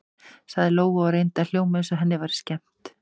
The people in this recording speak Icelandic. sagði Lóa og reyndi að hljóma eins og henni væri skemmt.